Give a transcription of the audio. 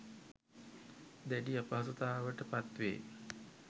දැඩි අපහසුතාවට පත්වේ.